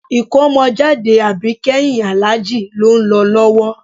Ìkómọjáde àbíkẹ́yìn Àlájì ló ń lọ lọ́wọ́